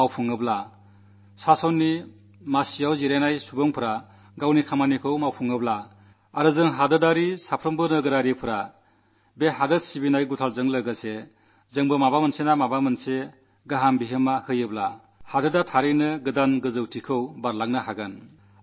നമ്മളും സൈന്യവും തങ്ങളുടെ ഉത്തരവാദിത്വം നിർവ്വഹിക്കട്ടെ ഭരണം നടത്തുന്നവർ അവരുടെ കർത്തവ്യം നിർവ്വഹിക്കട്ടെ നാം ദേശവാസികൾ എല്ലാ പൌരന്മാരും ഈ ദേശഭക്തിയുടെ ആവേശത്തോടൊപ്പം എന്തെങ്കിലും സൃഷ്ടിപരമായ പങ്ക് നിർവ്വഹിക്കാമെങ്കിൽ രാജ്യം തീർച്ചയായും പുതിയ ഉയരങ്ങൾ കീഴടക്കും